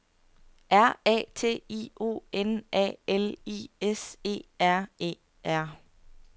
R A T I O N A L I S E R E R